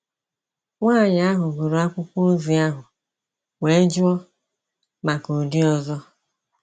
Nwanyị ahụ gụrụ akwụkwọ ozi ahụ wee jụọ maka ụdị ọzọ.